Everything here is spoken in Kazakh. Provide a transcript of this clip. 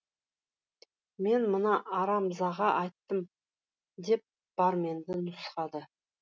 мен мына арамзаға айттым деп барменді нұсқады